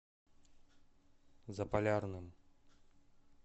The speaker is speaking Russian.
заполярным